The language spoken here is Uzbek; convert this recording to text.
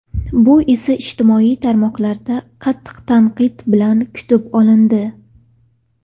Bu esa ijtimoiy tarmoqlarda qattiq tanqid bilan kutib olindi.